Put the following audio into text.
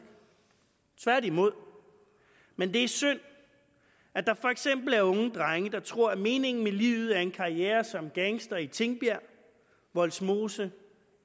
tværtimod men det er synd at der for eksempel er unge drenge der tror at meningen med livet er en karriere som gangster i tingbjerg vollsmose